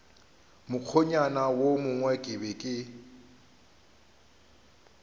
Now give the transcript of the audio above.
mokgwanyana wo mongwe ke be